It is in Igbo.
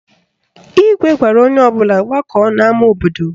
Igwe gwara onye ọbụla gbakọọ n'ama obodo